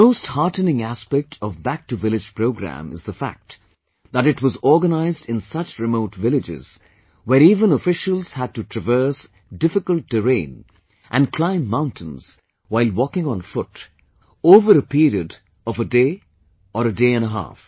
The most heartening aspect of 'Back to village' programme is the fact, that it was organized in such remote villages, where even officials had to traverse difficult terrain and climb mountains while walking on foot over a period of day or day and a half